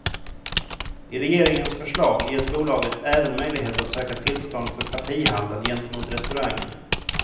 I regeringens förslag ges bolaget även möjlighet att söka tillstånd för partihandel gentemot restauranger.